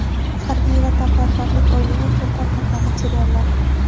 "Harbiy vatanparvarlik oyligi" uchun tarqatma materiallar.